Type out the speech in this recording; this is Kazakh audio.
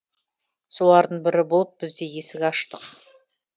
солардың бірі болып біз де есік аштық